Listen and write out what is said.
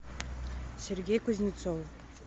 сергей кузнецов